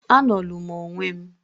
"A nolu m onwe m...."